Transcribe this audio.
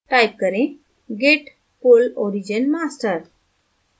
type करें git pull origin master